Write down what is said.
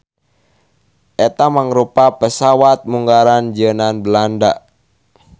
Eta mangrupa pesawat munggaran jieunan Belanda